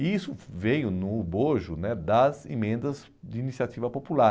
E isso veio no bojo né das emendas de iniciativa popular.